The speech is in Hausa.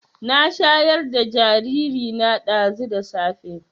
Na shayar da jariri na ɗazu da safe